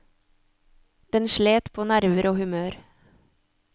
Den slet på nerver og humør.